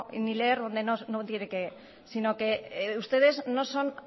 no ni leer donde no tiene que sino que ustedes no son